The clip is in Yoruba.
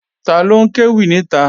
Taló ń kéwì níta?